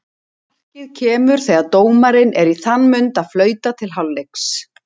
Markið kemur þegar dómarinn er í þann mund að flauta til hálfleiks.